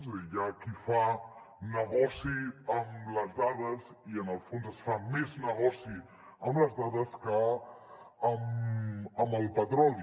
és a dir hi ha qui fa negoci amb les dades i en el fons es fa més negoci amb les dades que amb el petroli